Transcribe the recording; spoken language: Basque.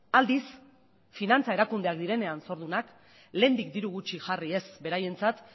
aldiz finantza erakundeak direnean zordunak lehendik diru gutxi jarri ez beraientzat